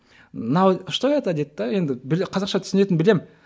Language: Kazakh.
мынау что это дейді де енді қазақша түсінетінін білемін